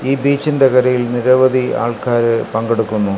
ഈ ബീച്ചിന്റെ കരയിൽ നിരവധി ആൾക്കാര് പങ്കെടുക്കുന്നു.